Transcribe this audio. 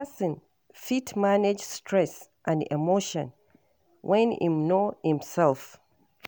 Person fit manage stress and emotion when im know im self